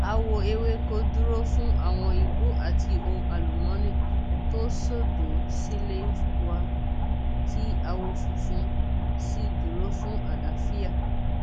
àwọ ewéko dúró fún àwọn igbó àti ohun àlùmọọnì tó sódò sílé wa tí àwọ funfun sì dúró fún àlàáfíà